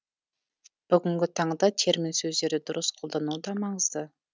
бүгінгі таңда термин сөздерді дұрыс қолдану да маңызды